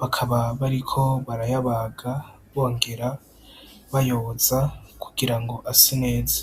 bakaba bariko barayabaga bongera bayoza kugira ngo ase neza.